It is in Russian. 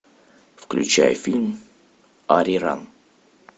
включай фильм ариран